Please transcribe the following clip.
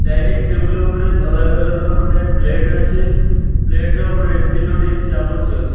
Dining table ଉପରେ ଧଳା colour ର ଗୋଟେ ପ୍ଲେଟ ଅଛି ପ୍ଲେଟ ର ଉପରେ ତିନୋଟି ଚାମଚ ଅଛି।